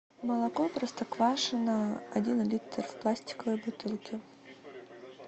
молоко простоквашино один литр в пластиковой бутылке